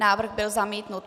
Návrh byl zamítnut.